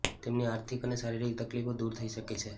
તેમની આર્થિક અને શારીરિક તકલીફો દૂર થઈ શકે છે